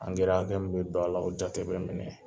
hakɛ min bɛ don a la o jate bɛ minɛ.